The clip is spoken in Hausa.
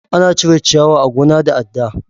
Ana cire ciyawa a gona da adda.